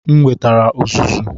M wetara uzuzu.